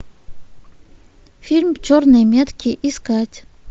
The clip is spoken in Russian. фильм черные метки искать